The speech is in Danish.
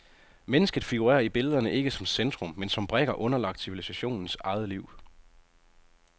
Mennesket figurerer i billederne ikke som centrum, men som brikker underlagt civilisationens eget liv.